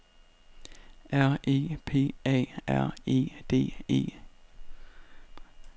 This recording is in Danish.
R E P A R E R E D E